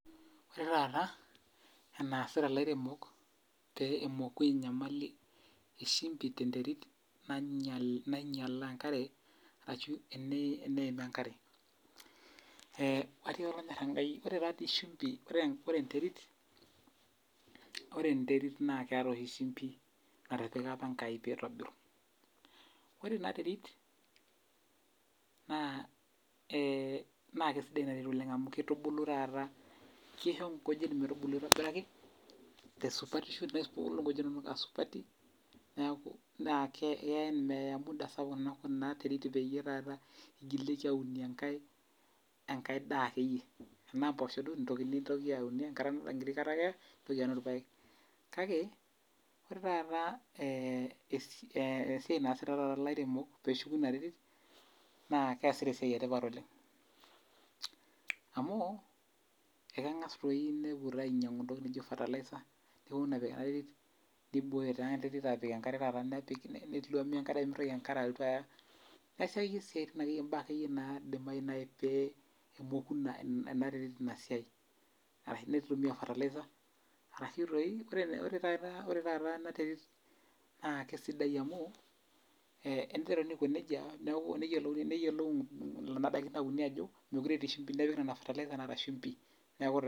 Ore taata enaasita lairemok pee emoku enyamali eshimbi tenterit nainyalaa enkare, ashu eneim enkare. Atiaka olonyor enkai ore tadi shimbi, ore enterit naketa oshi shimbi natipika apa Enkai pitobiru. Ore ina terit, na kesidai ina terit oleng amu kitubulu taata kisho nkujit metubulu aitobiraki, tesupatisho nebulu nkujit asupati, naa keku meya muda sapuk ena terit peyie taata igilieki aunie enkae enkae daa akeyie. Enaa mpoosho duo, nintoki aunie enkiti kata ake, nintoki aunie irpaek. Kake, ore taata esiai naasita taata lairemok peshuku ina terit, naa keesita esiai etipat oleng. Amu, ekeng'as toi nepuo ta ainyang'u intokiting nijo fertiliser, neponu apik enaterit, niboyo ta enterit apik enkare taata nepik neluami enkare pemitoki enkare alotu aya. Neesi akeyie siaitin imbaa akeyie naidimayu nai pe emoku enaterit inasiai. Arashu nitumia fertiliser, arashu toi, ore taata enaterit naa kesidai amu, eniteruni aiko nejia, neku neyiolou kuna daikin nauni ajo mekure etii shumbi. Nepiki nena fertilisers naata shumbi, neeku taa